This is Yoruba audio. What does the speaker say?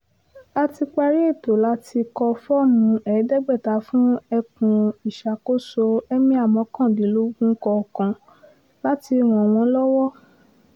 a ti parí ètò láti kọ fọ́ọ̀mù ẹ̀ẹ́dẹ́gbẹ̀ta fún ẹkùn ìṣàkóso ẹ̀míà mọ́kàndínlógún kọ̀ọ̀kan láti ràn wọ́n lọ́wọ́